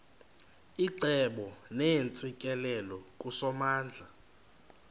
icebo neentsikelelo kusomandla